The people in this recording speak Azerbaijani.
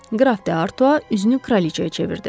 Qraf de Arto üzünü kraliçaya çevirdi.